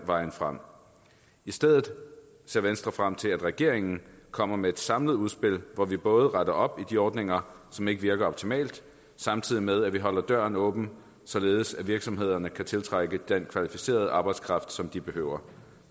vejen frem i stedet ser venstre frem til at regeringen kommer med et samlet udspil hvor vi både retter op de ordninger som ikke virker optimalt samtidig med at vi holder døren åben således at virksomhederne kan tiltrække den kvalificerede arbejdskraft som de behøver